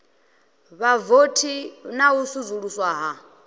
vhavothi na u vusuluswa ha